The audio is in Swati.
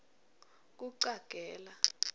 kucagela